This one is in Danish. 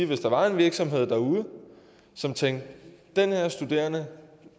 hvis der var en virksomhed derude som tænkte den her studerende